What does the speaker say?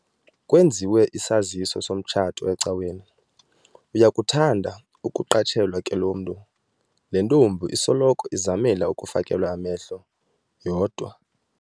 Kwenziwe isaziso somtshato ecaweni. uyakuthanda ukuqatshelwa ke lo mntu, le ntombi isoloko izamela ukufakelwa amehlo yodwa